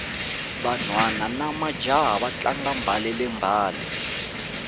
vanhwana namajaha va tlanga mbalele mbale